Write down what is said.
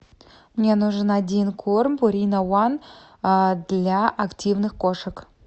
мне нужен один корм пурина ван для активных кошек